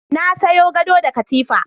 Na sayo gado da katifa.